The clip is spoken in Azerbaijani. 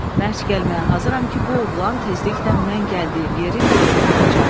Mən iş gəlməyə hazıram ki, bu oğlan tezliklə mən gəldiyim yerin yolunu tutacaq.